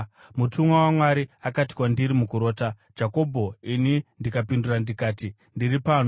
Mutumwa waMwari akati kwandiri mukurota, ‘Jakobho,’ ini ndikapindura ndikati, ‘Ndiri pano.’